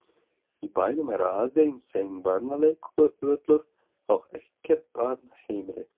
Í bænum er aðeins einn barnaleikvöllur og ekkert barnaheimili.